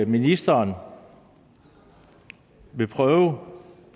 ministeren vil prøve